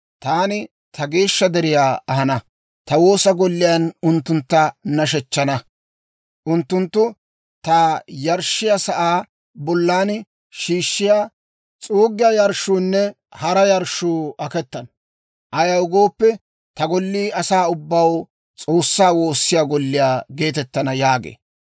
taani ta geeshsha deriyaa ahana; ta woosa golliyaan unttuntta nashshechchana. Unttunttu ta yarshshiyaa sa'aa bollan shiishshiyaa, s'uuggiyaa yarshshuunne hara yarshshuu aketana; ayaw gooppe, ta gollii Asay ubbay S'oossaa woossiyaa golliyaa geetettana» yaagee.